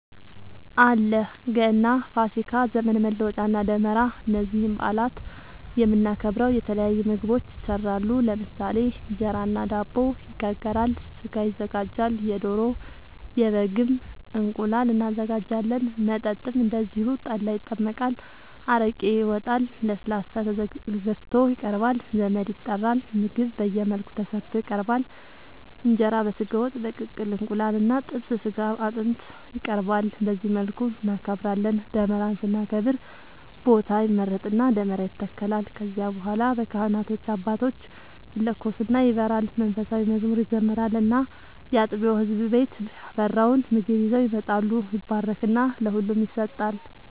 አለ ገና፣ ፋሲካ፣ ዘመን መለወጫ እና ደመራ እነዚህን በአላት የምናከብረው የተለያዩ ምግቦች ይሰራሉ ለምሳሌ እንጀራ እና ዳቦ ይጋገራል፣ ስጋ ይዘጋጃል የዶሮ፣ የበግም፣ እንቁላል እናዘጋጃለን። መጠጥም እንደዚሁ ጠላ ይጠመቃል፣ አረቄ ይወጣል፣ ለስላሳ ተገዝቶ ይቀርባል ዘመድ ይጠራል ምግብ በየመልኩ ተሰርቶ ይቀርባል እንጀራ በስጋ ወጥ፣ በቅቅል እንቁላል እና ጥብስ ስጋ አጥንት ይቀርባል በዚህ መልኩ እናከብራለን። ደመራን ስናከብር ቦታ ይመረጥና ደመራ ይተከላል ከዚያ በኋላ በካህናት አባቶች ይለኮስና ይበራል መንፉሳዊ መዝሙር ይዘመራል እና ያጥቢያው ህዝብ ቤት ያፈራውን ምግብ ይዘው ይመጣሉ ይባረክና ለሁሉም ይሰጣል።